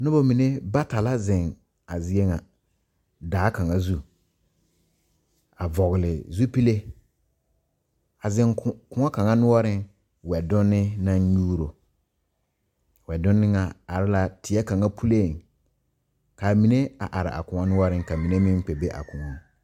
Noba mine bata la zeŋ a zie ŋa daa kaŋa zu a vɔgle zupile a zeŋ ko koɔ kaŋa noɔreŋ wɛdonne naŋ nyuuro wɛdonne ŋa are la teɛ kaŋa puliŋ k,a mine a are a koɔ noɔreŋ ka mine meŋ kpɛ be a koɔŋ.